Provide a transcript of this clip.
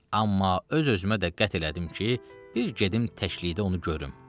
Amma öz-özümə də qət elədim ki, bir gedim təkliyi də onu görüm.